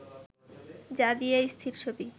যা দিয়ে স্থির ছবি